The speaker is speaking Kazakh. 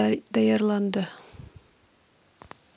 даярланды